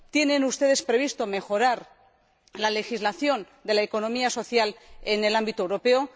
¿Tienen ustedes previsto mejorar la legislación de la economía social en el ámbito europeo?